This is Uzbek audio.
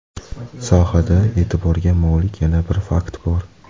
Sohada e’tiborga molik yana bir fakt bor.